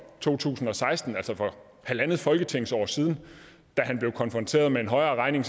to tusind og seksten altså for halvandet folketingsår siden da han blev konfronteret med en højere regning